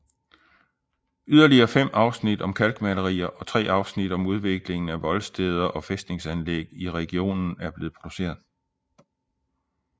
Yderligere fem afsnit om kalkmalerier og tre afsnit om udviklingen af voldsteder og fæstningsanlæg i regionen er blevet produceret